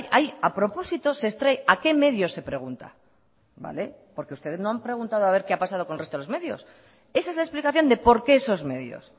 a propósito se extrae a qué medios se pregunta vale porque ustedes no han preguntado a ver qué ha pasado con el resto de los medios esa es la explicación de por qué esos medios